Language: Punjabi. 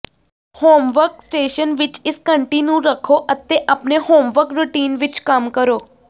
ਹੋਮਵਰਕ ਸਟੇਸ਼ਨ ਵਿਚ ਇਸ ਘੰਟੀ ਨੂੰ ਰੱਖੋ ਅਤੇ ਆਪਣੇ ਹੋਮਵਰਕ ਰੁਟੀਨ ਵਿਚ ਕੰਮ ਕਰੋ